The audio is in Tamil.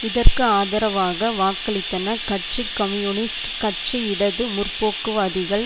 இதற்கு ஆதரவாக வாக்களித்தன கட்சி கம்யூனிஸ்ட் கட்சி இடது முற்போக்குவாதிகள்